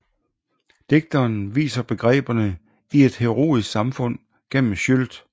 Digteren viser begreberne i et heroisk samfund gennem Scyld